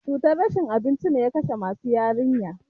Cutar rashin abinci ne ya kashe musu yarinya.